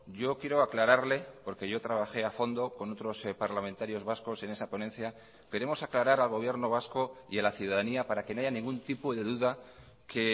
yo quiero aclararle porque yo trabajé a fondo con otros parlamentarios vascos en esa ponencia queremos aclarar al gobierno vasco y a la ciudadanía para que no haya ningún tipo de duda que